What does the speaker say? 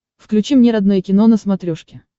включи мне родное кино на смотрешке